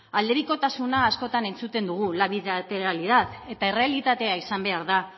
aldebikotasuna askotan entzuten dugu la bilateralidad eta errealitatea izan behar da